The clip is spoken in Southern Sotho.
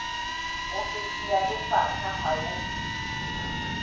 ofisi ya lefapha le haufi